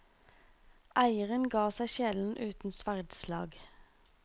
Eieren ga seg sjelden uten sverdslag.